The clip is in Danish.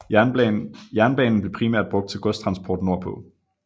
Jernbanen blev primært brugt til godstransport nordpå